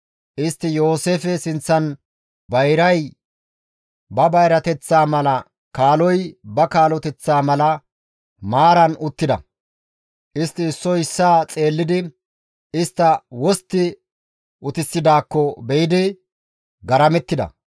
Istti Yooseefe sinththan bayray ba bayrateththaa mala kaaloy ba kaaloteththa mala maaran uttida. Istti issoy issaa xeellidi istta wostti utissidaakko be7idi malalettida.